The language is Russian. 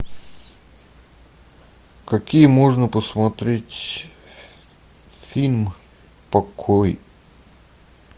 какие можно посмотреть фильм покой